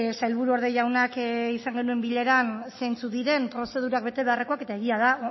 sailburuorde jaunak izan genuen bileran zeintzuk diren prozedurak betebeharrak eta egia da